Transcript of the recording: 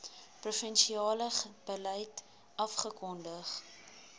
provinsiale beleid afgekondig